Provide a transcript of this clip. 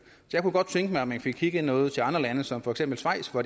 jeg kunne godt tænke mig at man fik kigget noget til andre lande som for eksempel schweiz hvor